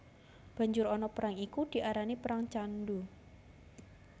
Banjur ana perang iku diarani perang Candhu